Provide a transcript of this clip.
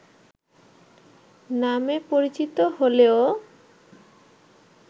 নামে পরিচিত হলেও